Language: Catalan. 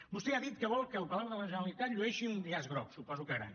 vostè ha dit que vol que el palau de la generalitat llueixi un llaç groc suposo que gran